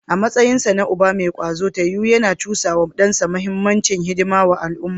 A matsayinsa na uba mai kwazo, Taiwo yana cusa wa dansa muhimmancin hidimar al’umma.